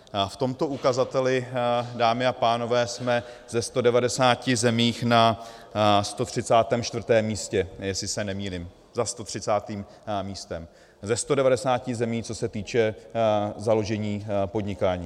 V tomto ukazateli, dámy a pánové, jsme ze 190 zemí na 134. místě, jestli se nemýlím, za 130. místem ze 190 zemí, co se týče založení podnikání.